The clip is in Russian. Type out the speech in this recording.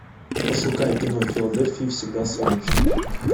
пошукай кино в филадельфии всегда солнечно